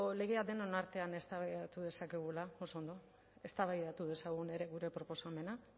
legea denon artean eztabaidatu dezakegua oso ondo eztabaidatu dezagun ere gure proposamena